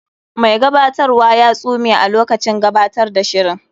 Mai gabatarwa ya tsume a lokacin gabatar da shirin.